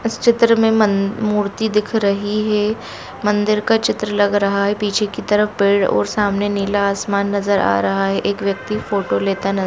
इस चित्र में मन-- मूर्ति दिख रही है मंदिर का चित्र लग रहा है पीछे के तरफ पेड़ और सामने नीला आसमान नज़र आ रहा है एक व्यक्ति फोटो लेता न--